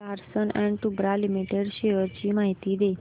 Larsen and टुर्बो limited shares ची माहिती दे